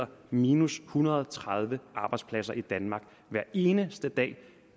minus en hundrede og tredive arbejdspladser i danmark hver eneste dag